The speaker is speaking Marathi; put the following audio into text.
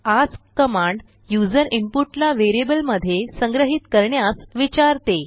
अस्क कमांड यूज़र इनपुट ला वेरियबल मध्ये संग्रहीत करण्यास विचारते